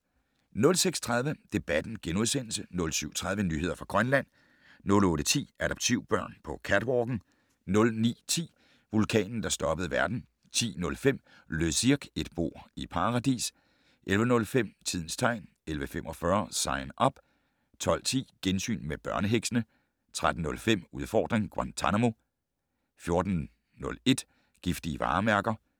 06:30: Debatten * 07:30: Nyheder fra Grønland 08:10: Adoptivbørn på catwalken 09:10: Vulkanen, der stoppede verden 10:05: Le Cirque - et bord i Paradis 11:05: Tidens tegn 11:45: Sign Up 12:10: Gensyn med børneheksene 13:05: Udfordring: Guantanamo 14:01: Giftige varemærker